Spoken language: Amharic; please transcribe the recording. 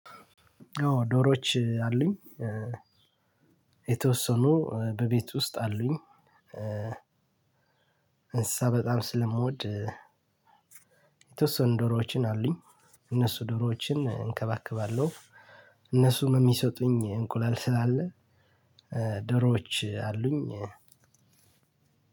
ኦ ዶሮዎች አሉኝ። የተወሰኑ በቤት ውስጥ አሉኝ። እንስሳ በጣም ስለምወድ የተወሰኑ ዶሮዎችን አሉኝ። እነሱ ደሮዎችን እንከባከባለሁ። እነሱም የሚሰጡኝ እንቁላል ስላለ ደሮዎች አሉኝ።